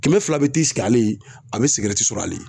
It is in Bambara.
Kɛmɛ fila bɛ te sigi ale ye a bɛ sigɛrɛti sɔrɔ ale ye